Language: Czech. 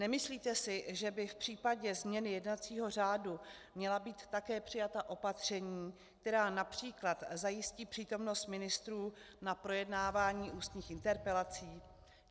Nemyslíte si, že by v případě změny jednacího řádu měla být také přijata opatření, která například zajistí přítomnost ministrů na projednávání ústních interpelací?